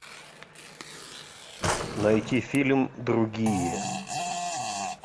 найти фильм другие